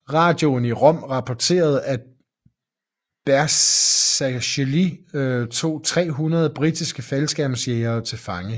Radioen i Rom rapporterede at Bersaglieri tog 300 britiske faldskærmsjægere til fange